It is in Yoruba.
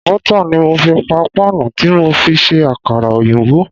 Bọ́tà ni mo fi pa páànù tí mo fi ṣe Àkàrà òyìnbó.